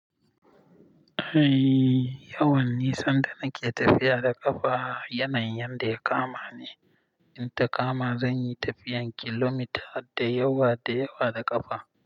Eh, yawan nisan da nake tafiya da ƙafa yanayin yadda ya kama ni. In ta kama, zan yi tafiyan kilomita da yawa da yawa da ƙafa.